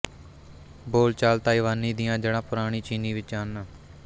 ਬੋਲਚਾਲ ਤਾਈਵਾਨੀ ਦੀਆਂ ਜੜ੍ਹਾਂ ਪੁਰਾਣੀ ਚੀਨੀ ਵਿੱਚ ਹਨ